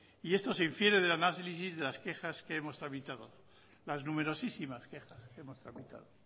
y esto se infiere del análisis de las quejas que hemos tramitado las numerosísimas quejas que hemos tramitado